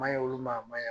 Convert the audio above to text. Maɲi olu ma a ma ɲi